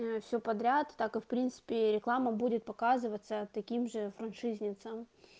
э все подряд так как в принципе реклама будет показываться таким же франшизе снится